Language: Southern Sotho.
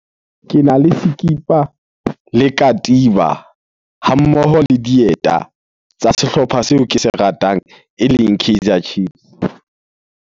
Kena le sekipa le katiba ha mmoho le dieta tsa sehlopha seo ke se ratang eleng Kaizer Chiefs.